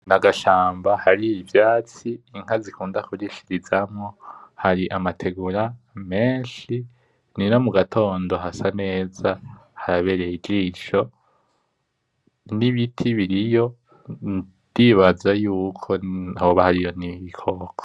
N'agashamba hariho ivyatsi, inka zikunda kurishirizamwo. Hari amategura menshi, nyira mugatondo hasa neza harabereye ijisho. Nibiti biriyo ndibaza yuko hoba hariyo nibikoko.